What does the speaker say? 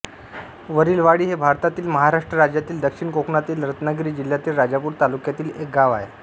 वरीलवाडी हे भारतातील महाराष्ट्र राज्यातील दक्षिण कोकणातील रत्नागिरी जिल्ह्यातील राजापूर तालुक्यातील एक गाव आहे